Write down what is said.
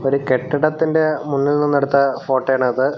ഒരു കെട്ടിടത്തിൻ്റെ മുന്നിൽ നിന്ന് എടുത്ത ഫോട്ടോ ആണത്.